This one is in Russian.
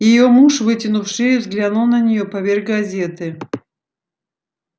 её муж вытянув шею взглянул на неё поверх газеты